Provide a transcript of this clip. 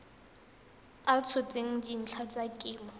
a tshotseng dintlha tsa kemo